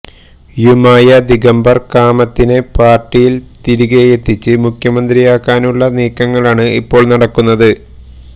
യുമായ ദിഗംബർ കാമത്തിനെ പാർട്ടിയിൽ തിരികെയത്തിച്ച് മുഖ്യമന്ത്രിയാക്കാനുള്ള നീക്കങ്ങളാണ് ഇപ്പോൾ നടക്കുന്നത്